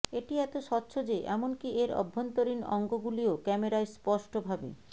এটি এত স্বচ্ছ যে এমনকি এর অভ্যন্তরীণ অঙ্গগুলিও ক্যামেরায় স্পষ্টভাবে